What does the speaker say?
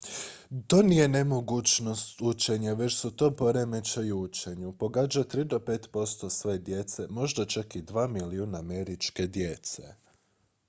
"to nije nemogućnost učenja već su to poremećaji u učenju. "pogađa 3 do 5 posto sve djece možda čak 2 milijuna američke djece"".